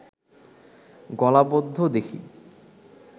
গলাবদ্ধ দেখি